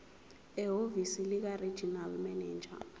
ehhovisi likaregional manager